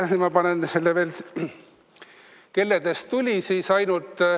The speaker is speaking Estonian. Siin ma panen selle veel, kelledest tuli siis ainult ...